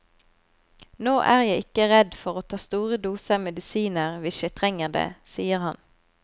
Nå er jeg ikke redd for å ta store doser medisiner hvis jeg trenger det, sier han.